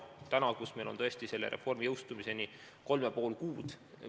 Täna on meil selle reformi jõustumiseni 3,5 kuud.